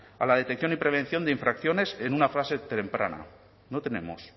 a la detección y prevención de infracciones en una fase temprana no tenemos